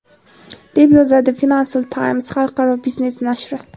deb yozadi "Financial Times" xalqaro biznes nashri.